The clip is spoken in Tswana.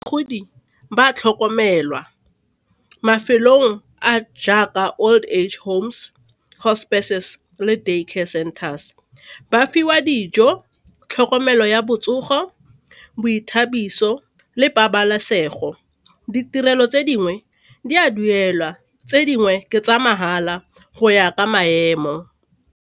ba a tlhokomelwa mafelong a jaaka old age homes, hospices le day care centers, ba fiwa dijo, tlhokomelo ya botsogo, boithabiso le pabalesego. Ditirelo tse dingwe di a duelwa, tse dingwe ke tsa mahala go ya ka maemo.